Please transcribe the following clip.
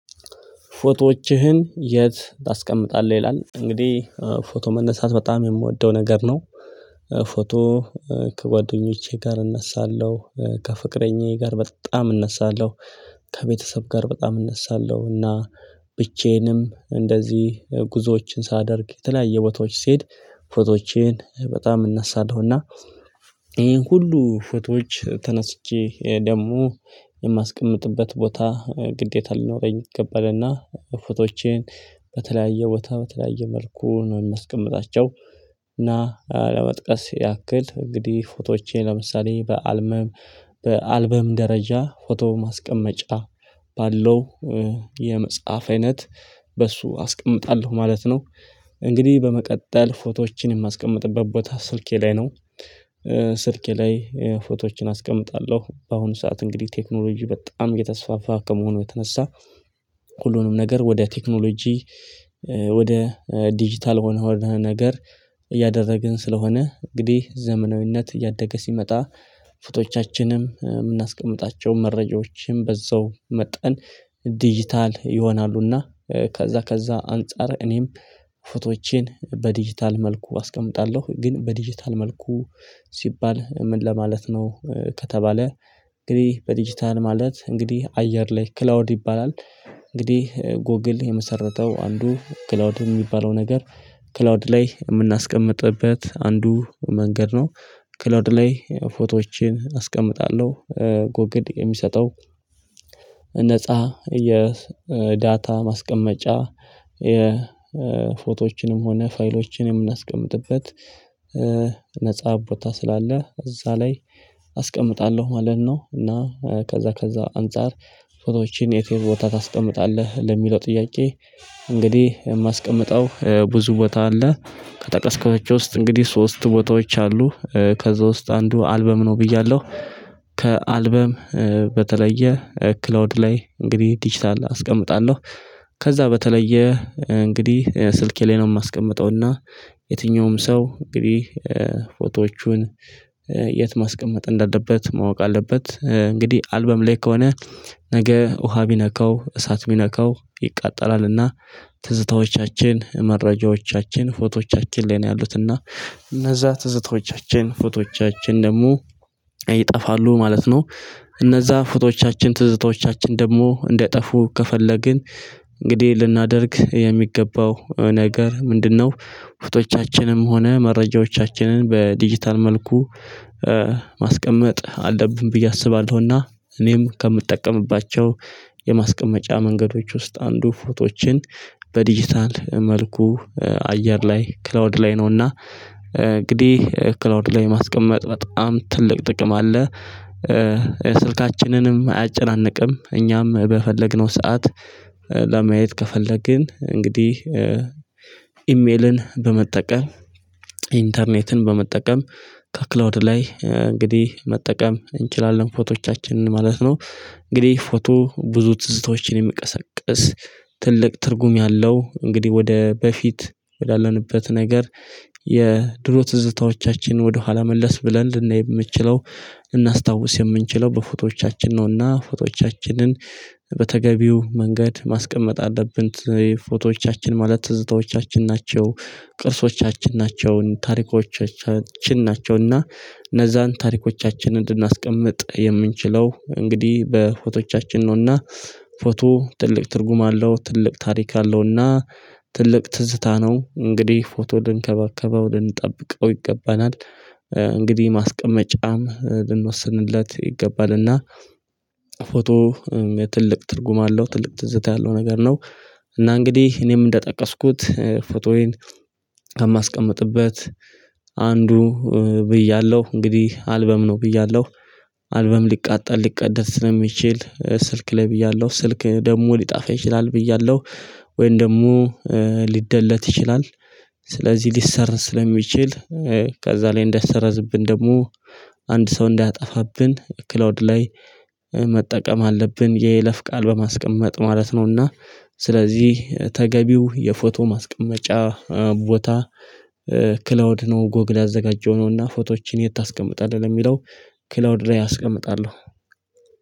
ፎቶዎችህን የት ታስቀምጣለህ ይላል እንግዲህ ፎቶ መነሳት በጣም የምወደው ነገር ነው። ፎቶ ከጓደኞቼ ጋር እነሳለሁ ከፍቅረኛዬ ጋር በጣም እነሳለሁ ከቤተሰብ ጋር በጣም እነሳለሁ እና ብቻዬንም እንደዚህ ጉዞዎችን ሳደርግ የተለያየ ቦታዎች ሲሄድ ፎቶዎቼን በጣም እነሳለሁና። ይሄን ሁሉ ፎቶዎች ተነስቼ ደግሞ የማስቀምጥበት ቦታ ግዴታ ሊኖረኝ ይገባልና ፎቶዎቼን በተለያየ ቦታ በተለያየ መልኩ ነው የማስቀምጣቸው። እና ለመጥቀስ ያክል እንግዲህ ፎቶዎቼ ለምሳሌ በአልበም በአልበም ደረጃ ፎቶ ማስቀመጫ ባለው የመጽሐፍ አይነት በሱ አስቀምጣለሁ ማለት ነው። እንግዲህ በመቀጠል ፎቶዎችን የማስቀምጥበት ቦታ ስልኬ ላይ ነው። ስልኬ ላይ ፎቶዎችን አስቀምጣለሁ በአሁኑ ሰዓት እንግዲህ ቴክኖሎጂ በጣም እየተስፋፋ ከመሆኑ የተነሳ ሁሉንም ነገር ወደ ቴክኖሎጂ ወደ ዲጂታል ሆነህ ወደ ነገር እያደረግን ስለሆነ እንግዲህ ዘመናዊነት እያደገ ሲመጣ ፍቶቻችንም የምናስቀምጣቸው መረጃዎችም በዛው መጠን ዲጂታል ይሆናሉና። ከዛ ከዛ አንፃር እኔም ፎቶዎቼን በዲጂታል መልኩ አስቀምጣለሁ። ግን በዲጂታል መልኩ ሲባል ምን ለማለት ነው? ከተባለ እንግዲህ በዲጂታል ማለት እንግዲህ አየር ላይ ክላውድ ይባላል። እንግዲህ ጎግል የመሰረተው አንዱ ክላውድ የሚባለው ነገር ክላውድ ላይ የምናስቀምጥበት አንዱ መንገድ ነው። ክላውድ ላይ ፎቶዎችን አስቀምጣለሁ። ጎግል የሚሰጠው ነፃ የዳታ ማስቀመጫ የፎቶዎችንም ሆነ ፋይሎችን የምናስቀምጥበት ነፃ ቦታ ስላለ እዛ ላይ አስቀምጣለሁ ማለት ነው። እና ከዛ ከዛ አንፃር ፎቶዎችን የት የት ቦታ ታስቀምጣለህ ለሚለው ጥያቄ? እንግዲህ የማስቀምጠው ብዙ ቦታ አለ ከጠቀስኳቸው ውስጥ እንግዲህ ሶስት ቦታዎች አሉ ከዛ ውስጥ አንዱ አልበም ነው ብያለሁ። ከአልበም በተለየ ክላውድ ላይ እንግዲህ ዲጂታል አስቀምጣለሁ። ከዛ በተለየ እንግዲህ ስልኬ ላይ ነው የማስቀምጠውና። የትኛውም ሰው እንግዲህ ፎቶዎቹን የት ማስቀመጥ እንዳለበት ማወቅ አለበት እንግዲህ አልበም ላይ ከሆነ ነገ ውሃ ቢነካው እሳት ቢነካው ይቃጠላልና። ትዝታዎቻችን መረጃዎቻችን ፎቶዎቻችን ላይ ነው ያሉትና እነዛ ትዝታዎቻችን ፎቶዎቻችን ደግሞ ይጠፋሉ ማለት ነው። እነዛ ፎቶዎቻችን ትዝታዎቻችን ደግሞ እንዳይጠፉ ከፈለግን እንግዲህ ልናደርግ የሚገባው ነገር ምንድነው? ውስጦቻችንም ሆነ መረጃዎቻችንን በዲጂታል መልኩ ማስቀመጥ አለብን ብዬ አስባለሁና። እኔም ከምጠቀምባቸው የማስቀመጫ መንገዶች ውስጥ አንዱ ፎቶዎችን በዲጂታል መልኩ አየር ላይ ክላውድ ላይ ነውና። እንግዲህ ክላውድ ላይ ማስቀመጥ በጣም ትልቅ ጥቅም አለ። ስልካችንንም አያጨናንቅም እኛም በፈለግነው ሰዓት ለማየት ከፈለግን እንግዲህ ኢሜልን በመጠቀም ኢንተርኔትን በመጠቀም ከክላውድ ላይ እንግዲህ መጠቀም እንችላለን ፎቶዎቻችንን ማለት ነው። እንግዲህ ፎቶ ብዙ ትዝታዎችን የሚቀሰቅስ ትልቅ ትርጉም ያለው እንግዲህ ወደ በፊት ያለንበት ነገር የድሮ ትዝታዎቻችን ወደኋላ መለስ ብለን ልናይ የምንችለው እናስታውስ የምንችለው በፎቶዎቻችን ነውና ፎቶዎቻችንን በተገቢው መንገድ ማስቀመጥ አለብን። ፎቶዎቻችን ማለት ትዝታዎቻችን ናቸው ቅርሶቻችን ናቸው ታሪኮቻችን ናቸውና። እነዛን ታሪኮቻችን ልናስቀምጥ የምንችለው እንግዲህ በፎቶቻችን ነውና። ፎቶ ትልቅ ትርጉም አለው ትልቅ ታሪክ አለውና። ትልቅ ትዝታ ነው እንግዲህ ፎቶ ልንከባከበው ልንጠብቀው ይገባናል። እንግዲህ ማስቀመጫም ልንወስንለት ይገባል። እና ፎቶ ትልቅ ትርጉም አለው ትልቅ ትዝታ ያለው ነገር ነው። እና እንግዲህ እኔም እንደጠቀስኩት ፎቶዬን ከማስቀምጥበት አንዱ ብያለሁ እንግዲህ አልበም ነው ብያለሁ። አልበም ሊቃጠል ሊቀደድ ስለሚችል ስልክ ላይ ብያለሁ ስልክ ደግሞ ሊጠፋ ይችላል ብያለሁ። ወይን ደግሞ ሊደለት ይችላል። ስለዚህ ሊሰረዝ ስለሚችል ከዛ ላይ እንዳይሰረዝብን ደግሞ አንድ ሰው እንዳያጠፋብን ክላውድ ላይ መጠቀም አለብን የይለፍ ቃል በማስቀመጥ ማለት ነውና። ስለዚህ ተገቢው የፎቶ ማስቀመጫ ቦታ ክላውድ ነው ጎግላ ያዘጋጀው ነውና። ፎቶዎችን የት ታስቀምጣለህ ለሚለው ክላውድ ላይ አስቀምጣለሁ።